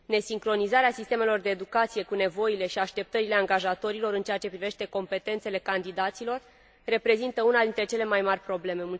Nesincronizarea sistemelor de educație cu nevoile și așteptările angajatorilor în ceea ce privește competențele candidaților reprezintă una dintre cele mai mari probleme.